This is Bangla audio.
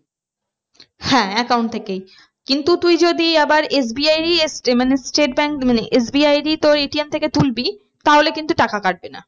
হ্যাঁ account থেকেই কিন্তু তুই যদি আবার SBI মানে state bank মানে SBI এরই তোর ATM থেকে তুলবি তাহলে কিন্তু টাকা কাটবে না।